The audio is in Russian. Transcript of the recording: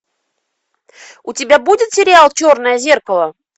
у тебя будет сериал черное зеркало